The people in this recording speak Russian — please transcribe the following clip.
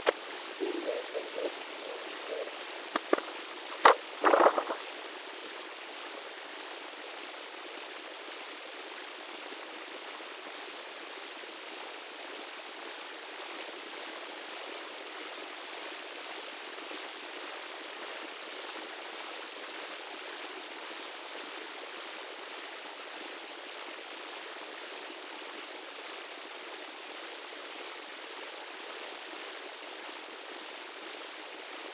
первый эпизод филмстер